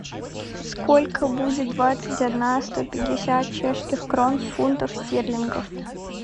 сколько будет двадцать одна сто пятьдесят чешских крон в фунтах стерлингов